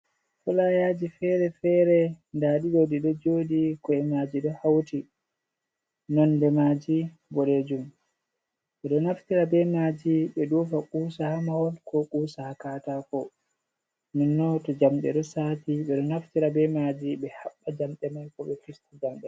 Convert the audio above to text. Fulayaji fere fere nda ɗiɗo ɗi ɗo joɗi ko’e maji ɗo hauti, nonde maji boɗejum, ɓeɗo naftira be maji ɓe ɗofa kusa hamahol ko kusa a katako, nonnon to jamɗe ɗo sati ɓeɗo naftira be maji ɓe haɓɓa jamɗe mai ko ɓe vista jamɗe mai.